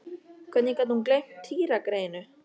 Hvernig gat hún gleymt Týra greyinu?